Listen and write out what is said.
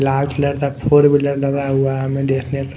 large लटक four wheeler लगा हुआ है हमें देखने को--